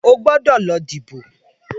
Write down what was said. Óogbòdò lò dìbó